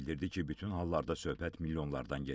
Bildirdi ki, bütün hallarda söhbət milyonlardan gedir.